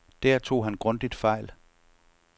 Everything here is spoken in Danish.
Der tog han grundigt fejl.